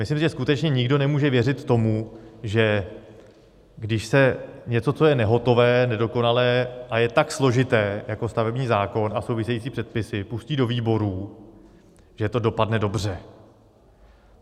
Myslím, že skutečně nikdo nemůže věřit tomu, že když se něco, co je nehotové, nedokonalé a je tak složité, jako stavební zákon a související předpisy, pustí do výborů, že to dopadne dobře.